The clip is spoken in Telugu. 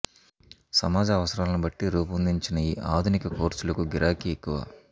సమాజ అవసరాలను బట్టి రూపొందించిన ఈ ఆధునిక కోర్సులకు గిరాకీ ఎక్కువ